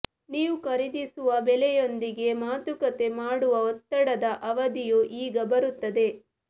ನೀವು ಖರೀದಿಸುವ ಬೆಲೆಯೊಂದಿಗೆ ಮಾತುಕತೆ ಮಾಡುವ ಒತ್ತಡದ ಅವಧಿಯು ಈಗ ಬರುತ್ತದೆ